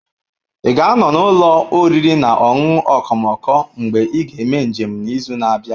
Ị ga-anọ n'ụlọ oriri na ọṅụṅụ okomoko mgbe ị ga-eme njem n'izu na-abịa?